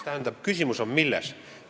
Tähendab, küsimus on milles?